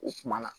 O kumana